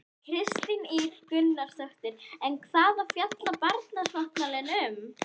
Kristín Ýr Gunnarsdóttir: En hvað fjallar barnasáttmálinn um?